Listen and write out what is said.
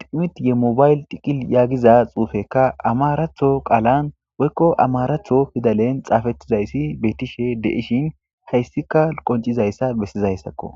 ximitye mobayl tiqil yaagiza xuufekka amaratho qaalan woykko amaratho fidalen xaafettizayssi beettishe deishin hayssika qoncizayssa bessizayssakko.